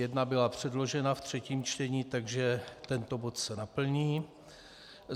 Jedna byla předložena ve třetím čtení, takže tento bod se naplní.